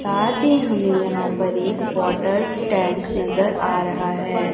साथ ही हमें यहां पर एक वाटर टैंक नजर आ रहा है।